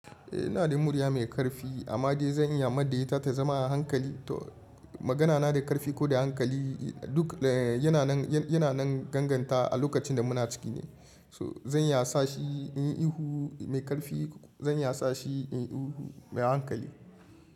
Eh ina da murya mai ƙarfi amma dai zan iya mai da ita ta zama a hankali to. Magana na da ƙarfi ko da hankali duk yana nan, yana nan ganganta a lokacin da muna ciki ne. To zan iya sa shi inyi ihu mai ƙarfi zan iya sa shi inyi ihu mai hankali.